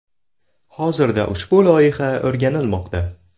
Hozirda ushbu loyiha o‘rganilmoqda.